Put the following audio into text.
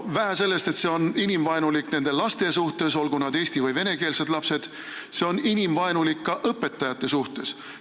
Vähe sellest, et see on inimvaenulik nende laste suhtes, olgu nad eesti või vene lapsed, see on inimvaenulik ka õpetajate suhtes.